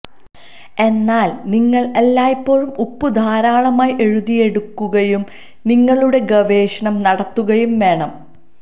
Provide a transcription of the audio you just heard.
എന്നാൽ നിങ്ങൾ എല്ലായ്പ്പോഴും ഉപ്പു ധാരാളമായി എഴുതിയെടുക്കുകയും നിങ്ങളുടെ ഗവേഷണം നടത്തുകയും വേണം